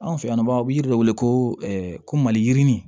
Anw fɛ yan nɔ u bɛ yiri de wele ko ko maliyirinin